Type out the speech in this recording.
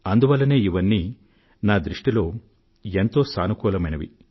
నా దృష్టిలో ఇవన్నీ చాలా సకారాత్మకమైనవి